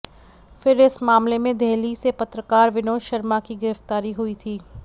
फिर इस मामले में देहली से पत्रकार विनोद वर्मा की गिरफ्तारी हुई थी